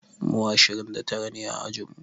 Mu ashirin da tara ne a ajin mu.